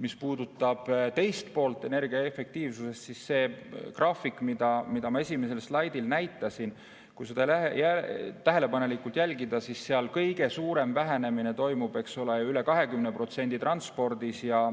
Mis puudutab energiaefektiivsuse teist poolt, siis see graafik, mida ma esimesel slaidil näitasin – kui seda tähelepanelikult vaadata, siis seal kõige suurem vähenemine, üle 20% toimub transpordis ja